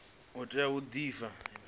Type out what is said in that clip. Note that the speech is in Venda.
u tea u di pfa